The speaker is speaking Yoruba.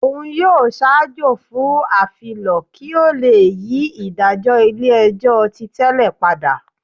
Òun yóò ṣaajọ fún afilọ ki o le yi idajọ ilé-ẹjọ́ tí tẹlè pada.